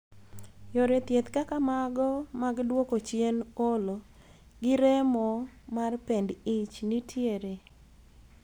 Yore thieth kaka mago mag duoko chien olo gi remo mar pend ich nitiere.